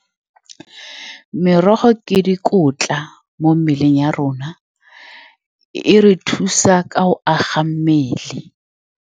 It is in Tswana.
Merogo ke dikotla mo mmeleng ya rona. E re thusa ka go aga mmele.